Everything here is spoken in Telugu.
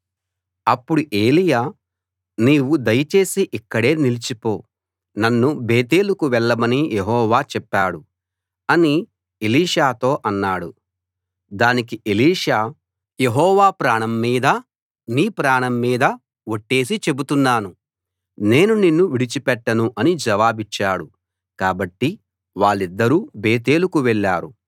అప్పుడు ఏలీయా నీవు దయచేసి ఇక్కడే నిలిచిపో నన్ను బేతేలుకు వెళ్ళమని యెహోవా చెప్పాడు అని ఎలీషాతో అన్నాడు దానికి ఎలీషా యెహోవా ప్రాణం మీదా నీ ప్రాణం మీదా ఒట్టేసి చెబుతున్నాను నేను నిన్ను విడిచి పెట్టను అని జవాబిచ్చాడు కాబట్టి వాళ్ళిద్దరూ బేతేలుకు వెళ్ళారు